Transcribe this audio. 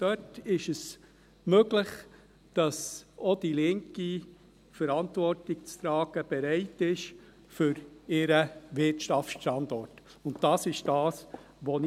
Dort ist es möglich, dass auch die Linke bereit ist, für ihren Wirtschaftsstandort Verantwortung zu tragen.